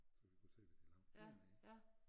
Så vi kunne se hvad de lavede dernede